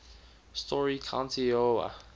story county iowa